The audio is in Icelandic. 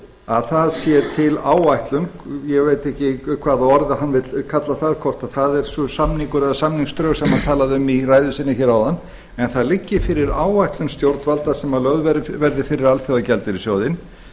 að það sé til áætlun ég veit ekki hvaða orði hann vill kalla það hvort það er samningur eða samningsdrög sem hann talaði um í ræðu sinni hér áðan en það liggi fyrir áætlun stjórnvalda sem lögð verði fyrir alþjóðagjaldeyrissjóðinn